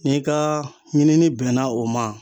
Ni ka ɲinini bɛnna o ma